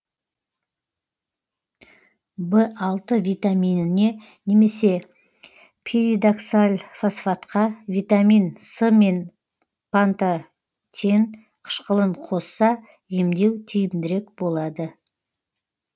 б алты витаминіне немесе пиридоксальфосфатқа витамин с мен пантотен қышқылын қосса емдеу тиімдірек болады